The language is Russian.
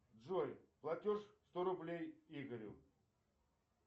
джой платеж сто рублей игорю